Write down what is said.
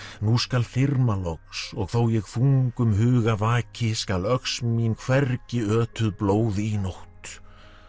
nú skal þyrma loks og þó ég þungum huga vaki skal öx mín hvergi ötuð blóði í nótt